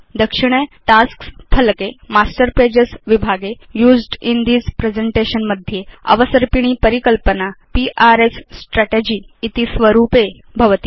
दक्षिणे Tasks फलके master pages विभागे Used इन् थिस् प्रेजेन्टेशन् मध्ये अवसर्पिणी परिकल्पना पीआरएस स्ट्राटेजी इति स्वरूपे भवति